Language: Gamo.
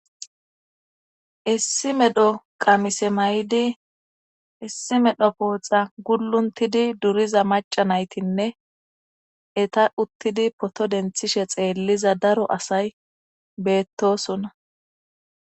issi medho qamise mayidi issi medho pooxa gulluntidi duriza maca naytinne eta uttidi poto denthishe xeelliza daro asay beettosona.